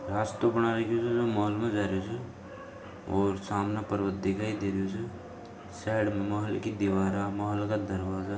रास्तो बना रखु छे जो मॉल में जा रहु छे और सामने पर्वत दिखाई दे रहु छे साइड में महल की दीवारा महल का दरवाजा --